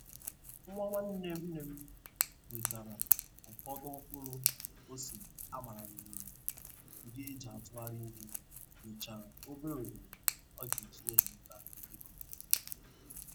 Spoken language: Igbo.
Nwa nwanne nne m wetara ufọdụ mkpụrụ ose a gbara n'ololo ndị e ji atugharị ihe nwechara obere oghere o ga-eji na-enweta ikuku.